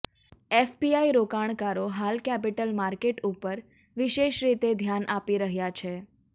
FPI રોકાણકારો હાલ capital market ઉપર વિશેષરીતે ધ્યાન આપી રહ્યા છે